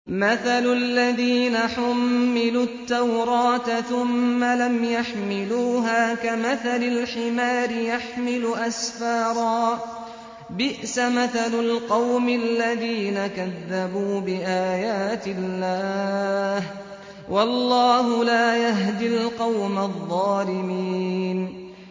مَثَلُ الَّذِينَ حُمِّلُوا التَّوْرَاةَ ثُمَّ لَمْ يَحْمِلُوهَا كَمَثَلِ الْحِمَارِ يَحْمِلُ أَسْفَارًا ۚ بِئْسَ مَثَلُ الْقَوْمِ الَّذِينَ كَذَّبُوا بِآيَاتِ اللَّهِ ۚ وَاللَّهُ لَا يَهْدِي الْقَوْمَ الظَّالِمِينَ